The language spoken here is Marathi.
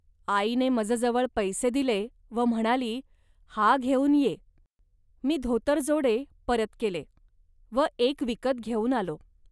आईने मजजवळ पैसे दिले व म्हणाली, "हा घेऊन ये. मी धोतरजोडे परत केले व एक विकत घेऊन आलो